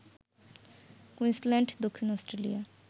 Queensland, দক্ষিণ Australia